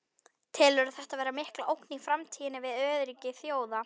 Telurðu þetta vera mikla ógn í framtíðinni við öryggi þjóða?